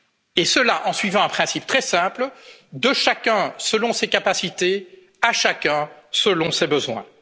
économique. Et cela, en suivant un principe très simple de chacun selon ses capacités à chacun selon